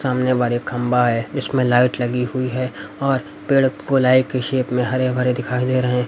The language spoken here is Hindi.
सामने बार एक खंबा है इसमें लाइट लगी हुई है और पेड़ गोलाई के शेप में हरे भरे दिखाई दे रहे हैं।